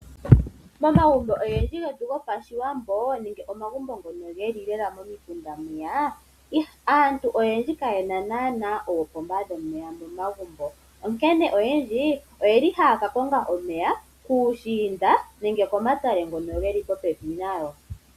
Momagumbo ogendji getu gOpashiwambo nenge omagumbo ngono geli lela momikunda mwiya, aantu oyendji kayena naana oopomba dhomeya momagumbo, onkene oyendji oyeli haya ka konga omeya puushinda nenge pomatale ngono geli popepi nayo.